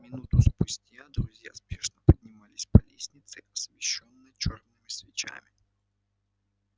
минуту спустя друзья спешно поднимались по лестнице освещённой чёрными свечами